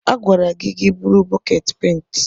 A gwara gị ka i buru bọket penti!